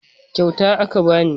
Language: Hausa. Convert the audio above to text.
Kyauta aka bani